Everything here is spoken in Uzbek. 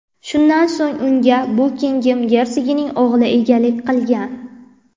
Shundan so‘ng unga Bukingem gersogining o‘g‘li egalik qilgan.